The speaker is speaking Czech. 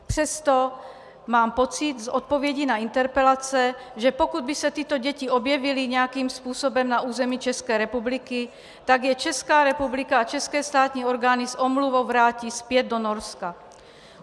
Přesto mám pocit z odpovědí na interpelace, že pokud by se tyto děti objevily nějakým způsobem na území České republiky, tak je Česká republika a české státní orgány s omluvou vrátí zpět do Norska.